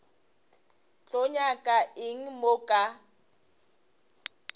tlo nyaka eng mo ka